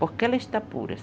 Porque ela está pura.